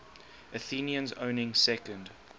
athenians owning second